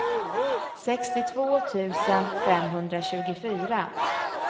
sextiotvå tusen femhundratjugofyra